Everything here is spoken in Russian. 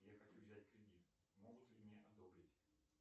я хочу взять кредит могут ли мне одобрить